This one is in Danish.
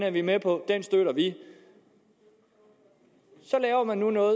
er vi med på den støtter vi så laver man nu noget